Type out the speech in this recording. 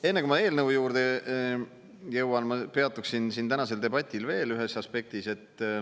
Enne kui ma eelnõu juurde jõuan, ma peatuksin tänasel debatil veel ühes aspektis.